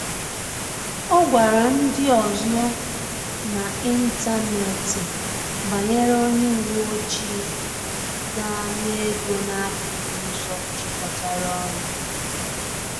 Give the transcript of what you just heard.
Ọ gwara ndị ọzọ n’ịntanetị banyere onye uweojii na-ana ego n’akụkụ ụzọ jikọtara ọnụ